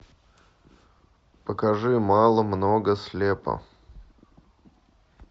покажи мало много слепо